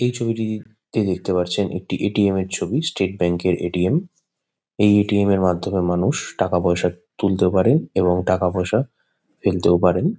এই ছবিটিতে দেখতে পারছেন একটি এ.টি.এম. -এর ছবি। স্টেট ব্যাঙ্ক -এর এ.টি.এম. । এই এ.টি.এম. -এর মাধ্যমে মানুষ টাকা-পয়সা তুলতেও পারেন এবং টাকা-পয়সা ফেলতেও পারেন।